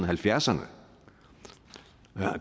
halvfjerdserne